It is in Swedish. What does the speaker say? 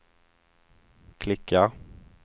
klicka